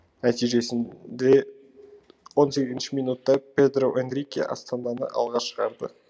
нәтижесінде он сегізінші минутта педро энрике астананы алға шығарды